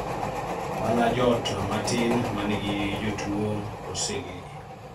mana joot matin manigi jotuwo oseng'ee